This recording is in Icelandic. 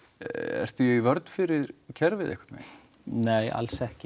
ertu í vörn fyrir kerfið einhvern veginn nei alls ekki